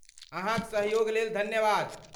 अहाँक सहयोग लेल धन्यवाद।